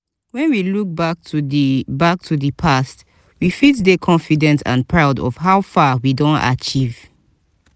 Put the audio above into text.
when we look back to di back to di past we fit dey confident and proud of how far we don achieve